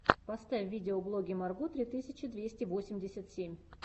поставь видеоблоги марго три тысячи двести восемьдесят семь